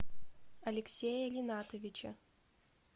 алексея ринатовича